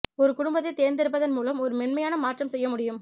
ஒரு குடும்பத்தைத் தேர்ந்தெடுப்பதன் மூலம் ஒரு மென்மையான மாற்றம் செய்ய முடியும்